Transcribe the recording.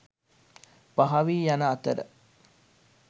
පහවී යන අතර